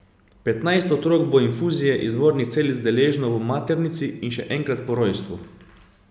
Petnajst otrok bo infuzije izvornih celic deležno v maternici in še enkrat po rojstvu.